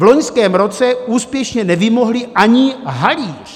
V loňském roce úspěšně nevymohli ani halíř!